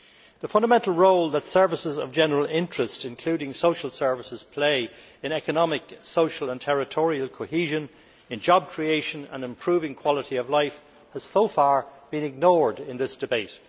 The fundamental role that services of general interest, including social services, play in economic, social and territorial cohesion, in job creation and improving quality of life, has so far been ignored in this debate.